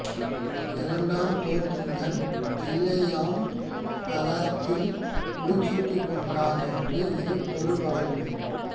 இரண்டாம் குலோத்துங்கன் தில்லையம்பலத்தில் முடிசூட்டிக் கொண்டான் என்று இது பொருள்படக்கூடும்